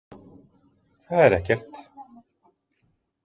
Það er ekkert